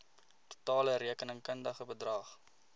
totale rekenkundige bedrag